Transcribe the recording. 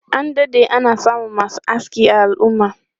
An dade ana samun masu aski a al'umma.